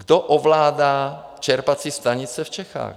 Kdo ovládá čerpací stanice v Čechách?